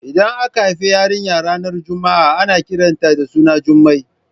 Idan aka haifi yarinya ranar Juma'a ana kiran ta da suna Jumai